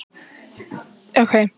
En getur fullorðið fólk orðið trans?